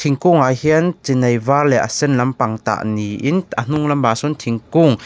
thingkungah hian chi nai var leh a sen lampang tah niin a hnung lam ah sawn thingkung--